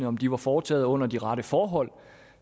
om de var foretaget under de rette forhold